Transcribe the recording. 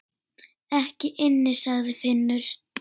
Ekki inni, sagði Finnur.